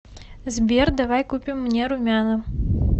сбер давай купим мне румяна